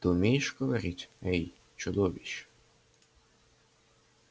ты умеешь говорить эй чудовище